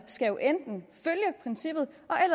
enten